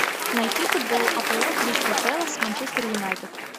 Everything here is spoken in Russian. найти футбол апл кристал пэлас с манчестер юнайтед